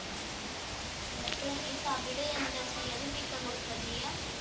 എന്നിട്ട് ഈ തവിട് എന്താ ചെയ്യാ അതും വിൽക്കാൻ കൊടുക്കാ ചെയ്യാ